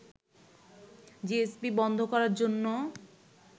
GSP বন্ধ করার জন্য